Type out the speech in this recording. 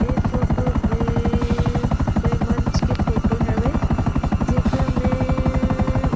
ये फोटो बेएएए कोई मंच के फोटो हवे जेकर मेंएएएए--